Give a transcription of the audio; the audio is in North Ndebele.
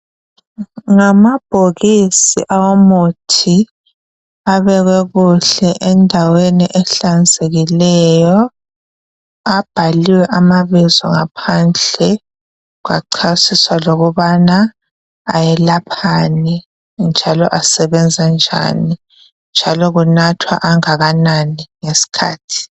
Ngamabhoksi awemithi, abekwe kuhle endaweni ehlanzekileyo. Abhaliwe amabizo ngaphandle, kwacasiswa ukubana ayelaphani, njalo asebenza njani, njalo kunathwa angakanani ngeskhathi.